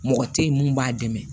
Mɔgɔ tɛ ye mun b'a dɛmɛ